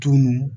Tunu